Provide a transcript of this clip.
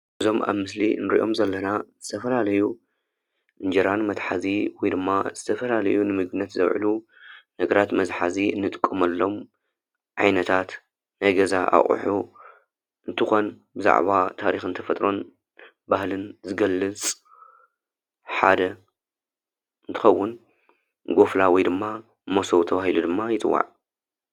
እዞም ኣብ ምስሊ ንሪኦም ዘለና ዝተፈላለዩ እንጀራ ንመትሓዚ ወይ ድማ ዝተፈላለዩ ንምግብነት ዝዉዕሉ ነገራት መትሓዚ ንጥቀመሎም ዓይነታት ናይ ገዛ ኣቁሑ እንትኮን ብዛዕባ ታሪክን ተፈጥሮን ባህልን ዝገልፅ ሓደ እንትከዉን ጎፍላ ወይ ድማ መሶብ ተባሂሉ ድማ ይፅዋዕ።